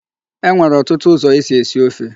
E nwere ọtụtụ ụzọ e si esi ofe.